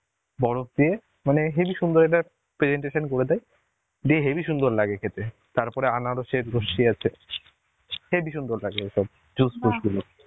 বরফ দিয়ে মানে হেবি সুন্দর একটা presentation করে দেয় দিয়ে হেবি সুন্দর লাগে খেতে. তারপরে আনারসের লস্যি আছে হেবি সুন্দর লাগে এসব juice ফুস গুলো.